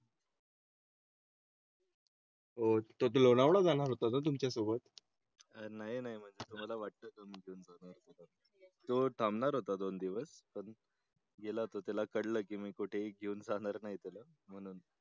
होतो लोणावळा जाणार होता तुमच्या सोबत. नाही नाही म्हणजे तुम्हाला वाटतं तुम्ही घेऊन तो टाळणार होता दोन दिवस पण गेला तो त्याला कळलं की मी कुठे ही घेऊन जाणार नाही त्याला म्हणून.